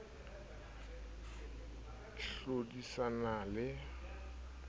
cc e ka hlodisana le